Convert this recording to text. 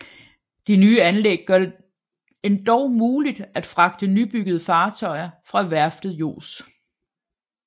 De nye anlæg gør det endog muligt at fragte nybyggede fartøjer fra værftet Jos